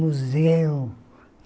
Museu.